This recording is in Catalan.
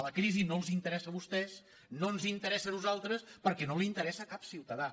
la crisi no els interessa a vostès no ens interessa a nosaltres perquè no li inte·ressa a cap ciutadà